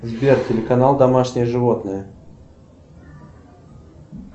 сбер телеканал домашние животные